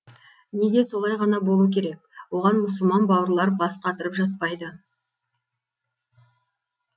неге солай ғана болу керек оған мұсылман бауырлар бас қатырып жатпайды